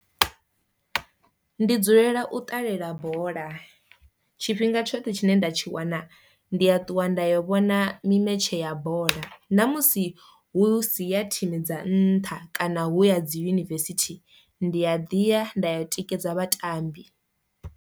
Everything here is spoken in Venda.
Ndi dzulela u ṱalela bola, tshifhinga tshoṱhe tshine nda tshi wana ndi a ṱuwa nda yo vhona mi metshe ya bola ṋa musi hu si ya thimu dza nntha kana hu ya dzi yunivesithi ndi a ḓi ya nda ya u tikedza vhatambi.